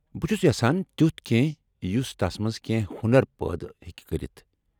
بہٕ چُھس یژھان تِیٚتھ كینہہ یُس تس منٛز كینہہ ہۄنر پٲدٕ ہٮ۪کہِ كرِتھ ۔